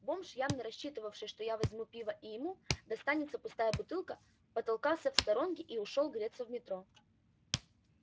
бомж явно рассчитывавший что я возьму пива и ему достанется пустая бутылка потолкался в сторонке и ушёл греться в метро